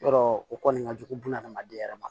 Yɔrɔ o kɔni ka jugu buna adamaden yɛrɛ ma